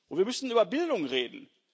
Wir müssen über Bildung reden.